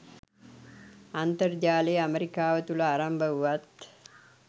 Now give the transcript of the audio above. අන්තර්ජාලය ඇමරිකාව තුළ ආරම්භ වුවත්